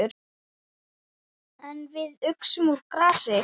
En við uxum úr grasi.